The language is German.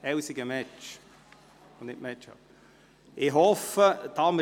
Sie werden noch ein Kuvert mit den näheren Angaben erhalten.